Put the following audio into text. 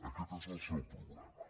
aquest és el seu problema